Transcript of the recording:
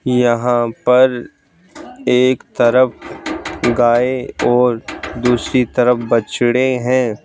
यहाँ पर एक तरफ गाय और दूसरी तरफ बछड़े हैं।